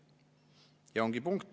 Ja ongi punkt.